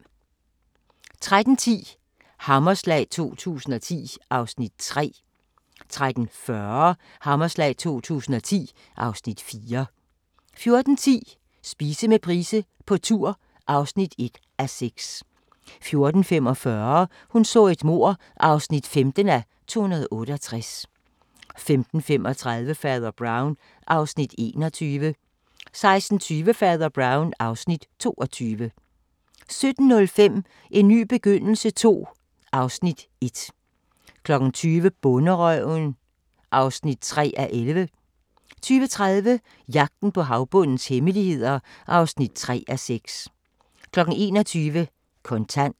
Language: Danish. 13:10: Hammerslag 2010 (Afs. 3) 13:40: Hammerslag 2010 (Afs. 4) 14:10: Spise med Price på tur (1:6) 14:45: Hun så et mord (15:268) 15:35: Fader Brown (Afs. 21) 16:20: Fader Brown (Afs. 22) 17:05: En ny begyndelse II (Afs. 1) 20:00: Bonderøven (3:11) 20:30: Jagten på havbundens hemmeligheder (3:6) 21:00: Kontant